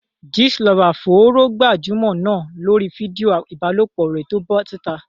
Gist lover fòòró gbajúmọ̀ náà lórí fídíò ìbálòpọ̀ rẹ̀ tó bọ́ síta.